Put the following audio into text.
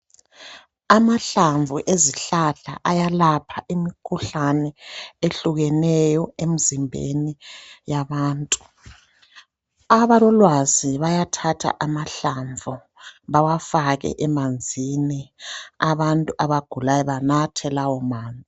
Amahlamvu ezihlahla ayalapha imikhuhlane ehlukeneyo emizimbeni yabantu. Abalolwazi bayathatha amahlamvu bawafake emanzini abantu abagulayo banathe lawomanzi.